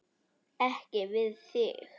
Ekki við þig.